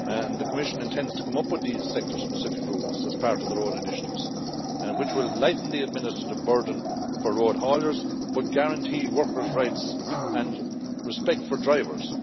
The Commission intends to come up with these sector specific rules as part of their own initiatives, which will lighten the administrative burden for road hauliers but guarantee workers' rights and respect for drivers.